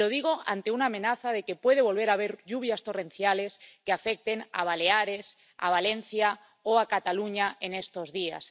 Y lo digo ante una amenaza de que puede volver a haber lluvias torrenciales que afecten a Baleares, a Valencia o a Cataluña en estos días.